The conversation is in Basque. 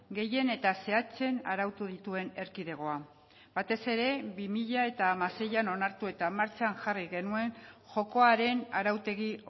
gehien eta zehatzen arautu dituen erkidegoa batez ere bi mila hamaseian onartu eta martxan jarri genuen jokoaren arautegi